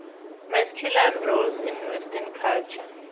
masculine roles in western culture